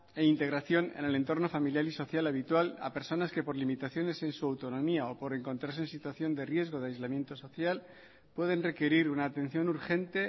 e integración en el entorno familiar y social habitual a personas que por limitaciones en su autonomía o por encontrarse en situación de riesgo de aislamiento social pueden requerir una atención urgente